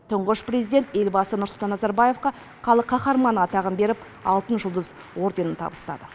тұңғыш президент елбасы нұрсұлтан назарбаевқа халық қаһарманы атағын беріп алтын жұлдыз орденін табыстады